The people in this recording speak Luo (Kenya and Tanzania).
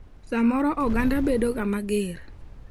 Samoro oganda bedoga mager.